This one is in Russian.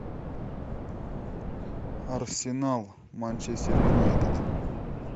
арсенал манчестер юнайтед